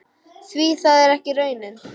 Því það er ekki raunin.